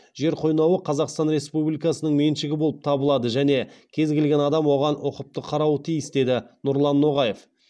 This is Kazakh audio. жер қойнауы қазақстан республикасының меншігі болып табылады және кез келген адам оған ұқыпты қарауы тиіс деді нұрлан ноғаев